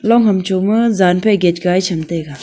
long ham choma jan phai gate gai sham taiga.